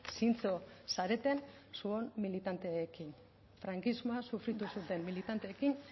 zintzo zareten zuon militanteekin frankismoa sufritu zuten militanteekin